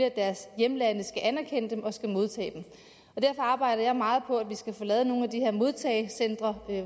at deres hjemlande skal anerkende dem og modtage dem og derfor arbejder jeg meget på at vi skal få lavet nogle af de her modtagecentre